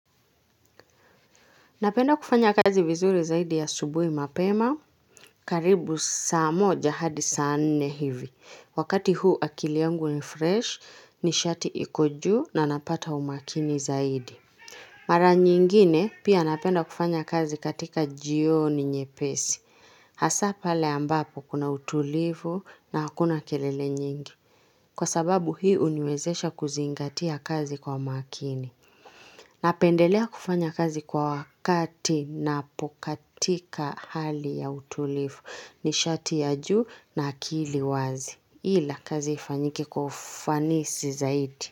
Napenda kufanya kazi vizuri zaidi ya asubuhi mapema, karibu saa moja hadi saa nne hivi. Wakati huu akili yangu ni fresh, nishati iko juu na napata umakini zaidi. Mara nyingine pia napenda kufanya kazi katika jioni nyepesi. Hasaa pale ambapo kuna utulivu na hakuna kelele nyingi. Kwa sababu hii huniwezesha kuzingatia kazi kwa makini. Napendelea kufanya kazi kwa wakati napokatika hali ya utulivu ni shati ya juu na akili wazi. Ila kazi ifanyike kwa ufanisi zaidi.